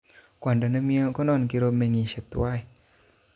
Kwondo nemie konon kiromengishe tiwan